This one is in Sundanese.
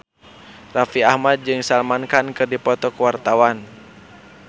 Raffi Ahmad jeung Salman Khan keur dipoto ku wartawan